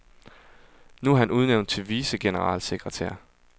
Nu er han udnævnt til vicegeneralsekretær.